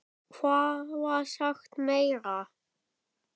Hvað var sagt meira?